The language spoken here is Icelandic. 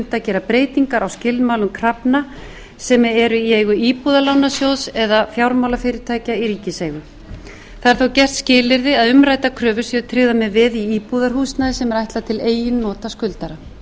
unnt að gera breytingar á skilmálum krafna sem eru í eigu íbúðalánasjóðs eða fjármálafyrirtækja í ríkiseigu það er þó gert að skilyrði að umræddar kröfur séu tryggðar með veði í íbúðarhúsnæði sem er ætlað til eigin nota skuldara þannig verði unnt að